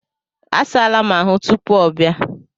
A saala m ahụ tupuu ọ bịa.